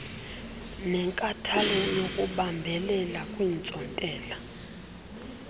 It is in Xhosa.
nenkathalo yokubambelela kwiintsontela